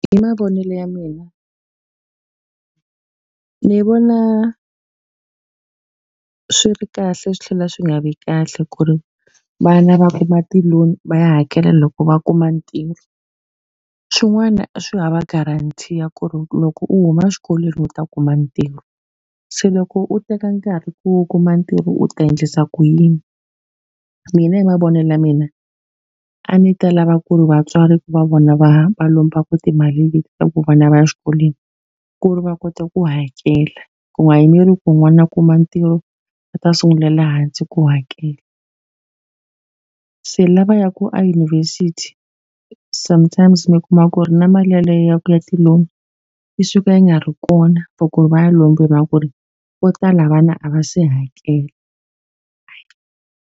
Hi mavonelo ya mina ni vona swi ri kahle swi tlhela swi nga vi kahle ku ri vana va kuma ti-loan va ya hakela loko va kuma ntirho. Swin'wana swi hava guarantee ya ku ri loko u huma exikolweni u ta kuma ntirho. Se loko u teka nkarhi ku u kuma ntirho u ta endlisa ku yini? Mina hi mavonele ya mina, a ndzi ta lava ku ri vatswari ku va vona va va lombaka timali leti ku vana va ya exikolweni, ku ri va kota ku hakela. Ku nga yimeriwi ku n'wana a kuma ntirho, va ta sungulela hansi ku hakela. Se lava ya ku eyunivhesiti sometimes se mi kuma ku ri na mali yeleyo ya ku ya ti-loan yi suka yi nga ri kona, for ku ri va ya lombewiwa ku ri vo tala vana a va se hakela.